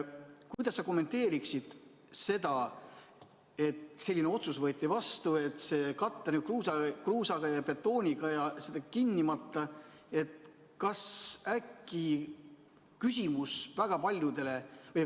Kuidas sa kommenteeriksid seda, et võeti vastu otsus katta kruusa ja betooniga?